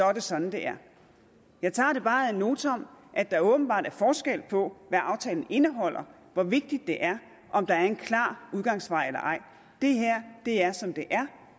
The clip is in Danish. er det sådan det er jeg tager det bare ad notam at der åbenbart er forskel på hvad aftalen indeholder og hvor vigtigt det er om der er en klar udgangsvej eller ej det her er som det er